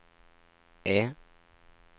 E